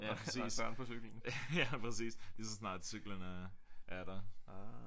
Ja præcis ja præcis lige så snart cyklen er der